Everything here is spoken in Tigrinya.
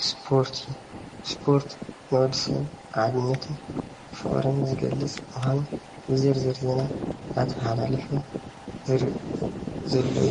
እስፖርቲ እዩ ፡- እስፖርት ንወዲ ሰብ ሓድነትን ፍቅርን ዝገልፅ ምኳኑ ዝርዝር ዜና እናተማሓላለፈ ዘርኢ ዘሎ እዩ፡፡